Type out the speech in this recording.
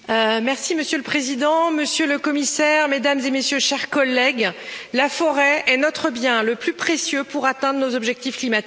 Monsieur le Président, Monsieur le Commissaire, Mesdames et Messieurs, chers collègues, la forêt est notre bien le plus précieux pour atteindre nos objectifs climatiques.